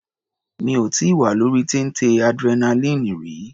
Mi ò tíì wà lórí téńté adrenaline rí.